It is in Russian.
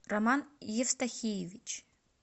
роман евстахиевич